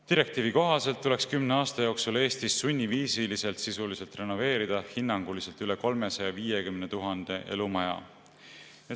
Direktiivi kohaselt tuleks kümne aasta jooksul Eestis sisuliselt sunniviisiliselt renoveerida hinnanguliselt üle 350 000 elumaja.